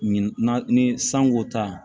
Min na ni sanko ta